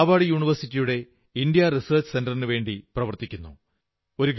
Harvard യൂണിവേഴ്സിറ്റിയുടെ India research സന്ററിനു വേണ്ടി പ്രവർത്തിക്കുന്നു